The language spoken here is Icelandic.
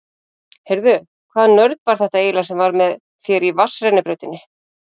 Heyrðu. hvaða nörd var þetta eiginlega sem var með þér í vatnsrennibrautinni?